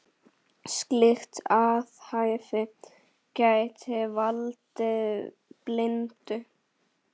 Slíkt athæfi gæti valdið blindu.